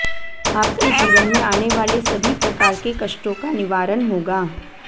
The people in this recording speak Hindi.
आपके जीवन में आने वाले सभी प्रकार के कष्टों का निवारण होगा